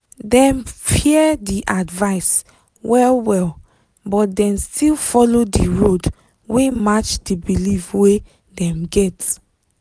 dem fear di advice well-well but dem still follow di road wey match di belief wey dem get.